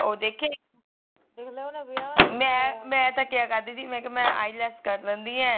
ਉਹ ਦੇਖੇ ਮੈ ਮੈਤਾ ਕਿਹਾ ਕਰਦੀ ਮੈ ਕਿਹਾ ਮੈ ielts ਕਰ ਲੈਂਦੀ ਏ